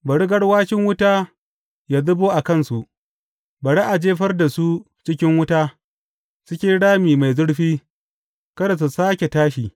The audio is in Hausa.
Bari garwashin wuta yă zubo a kansu; bari a jefar da su cikin wuta, cikin rami mai zurfi, kada su sāke tashi.